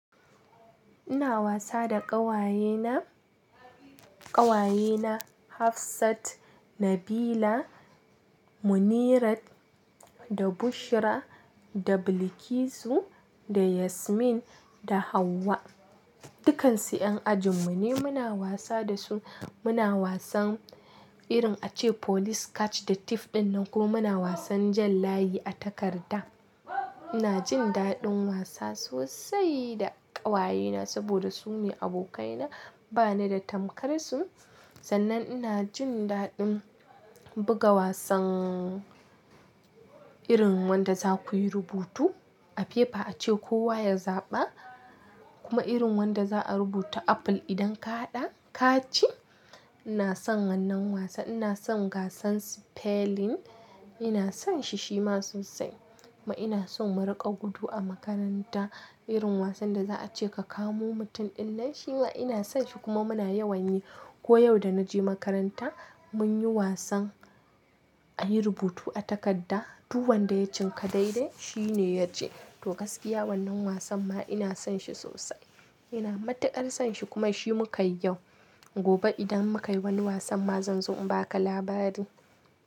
Ina wasa da ƙawayena, ƙawayena Hafsat, Nabila, Munirat, da Bushra, da Bilikisu, da Yasmin, da Hauwa. Dukansu 'yan ajin mu ne. Muna wasa dasu, muna wasan irin ace police catch da thief ɗin nan kuma muna wasan jan layi a takarda. Ina jin daɗin wasa sosai da ƙawayena saboda su ne abokaina. Bani da tamkar su, sannan ina jin daɗin buga wasan irin wanda za kuyi rubutu a paper ace kowa ya zaɓa, kuma irin wanda za a rubuta apple idan ka haɗa ka ci. Ina son wannan wasan, ina son gasan spelling, ina son shi shima sosai kuma ina son mu riƙa gudu a makaranta irin wasan da za a ce ka kamo mutum ɗin nan. Shi ma ina son shi kuma muna yawan yi. Ko yau da na je makaranta mun yi wasan ayi rubutu a takarda, duk wanda ya cinka daidai shi ne ya ci. To gaskiya wannan wasan ma ina son shi sosai. Ina matukar son shi kuma shi muka yi yau. Gobe idan muka yi wani wasan ma zan zo in ba ka labari.